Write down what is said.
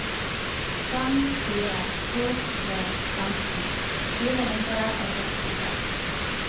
fem fire to tre femten fire hundre og sekstiseks